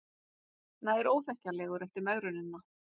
Nær óþekkjanlegur eftir megrunina